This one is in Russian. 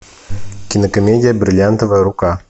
кинокомедия бриллиантовая рука